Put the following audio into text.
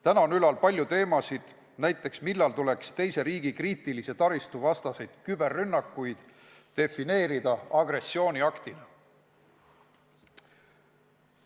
Täna on ülal palju teemasid, näiteks see, millal tuleks teise riigi kriitilise taristu vastaseid küberrünnakuid defineerida agressiooniaktina.